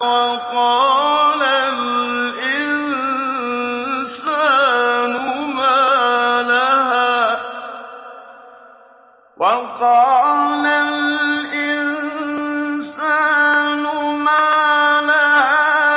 وَقَالَ الْإِنسَانُ مَا لَهَا